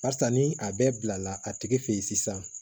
Barisa ni a bɛɛ bila la a tigi fɛ ye sisan